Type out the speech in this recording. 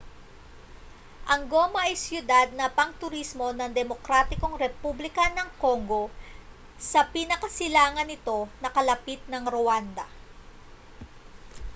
ang goma ay siyudad na pangturismo ng demokratikong republika ng congo sa pinakasilangan nito na kalapit ng rwanda